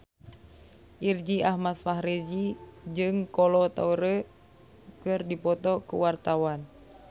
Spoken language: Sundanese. Irgi Ahmad Fahrezi jeung Kolo Taure keur dipoto ku wartawan